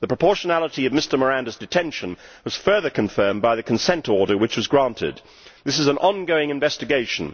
The proportionality of Mr Miranda's detention was further confirmed by the consent order which was granted. This is an ongoing investigation.